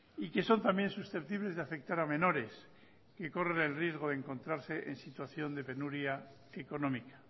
y que son también susceptibles de afectar a menores que corren el riesgo de encontrarse en situación de penuria económica